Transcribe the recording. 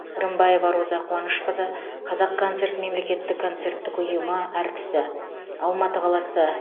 рымбаева роза қуанышқызы қазақконцерт мемлекеттік концерттік ұйымы әртісі алматы қаласы